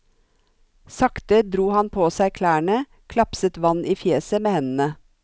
Sakte dro han på seg klærne, klapset vann i fjeset med hendene.